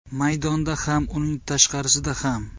Maydonda ham, uning tashqarisida ham.